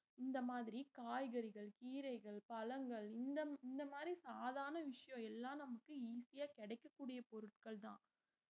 இந்த மாதிரி காய்கறிகள் கீரைகள் பழங்கள் இந்த இந்த மாதிரி சாதாரண விஷயம் எல்லாம் நமக்கு easy ஆ கிடைக்கக்கூடிய பொருட்கள்தான்